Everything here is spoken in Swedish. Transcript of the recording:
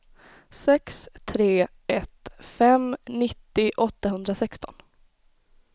sex tre ett fem nittio åttahundrasexton